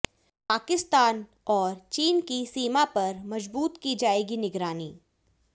पाकिस्तान और चीन की सीमा पर मजबूत की जाएगी निगरानी